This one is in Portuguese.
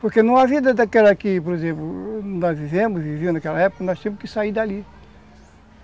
Porque não há vida daquela que, por exemplo, nós vivemos, vivimos naquela época, nós tínhamos que sair dali.